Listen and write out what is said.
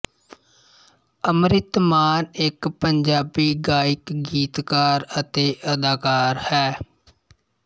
ਅੰਮ੍ਰਿਤ ਮਾਨ ਇੱਕ ਪੰਜਾਬੀ ਗਾਇਕ ਗੀਤਕਾਰ ਅਤੇ ਅਦਾਕਾਰ ਹੈ